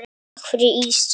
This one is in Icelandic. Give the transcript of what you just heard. Takk fyrir ísinn.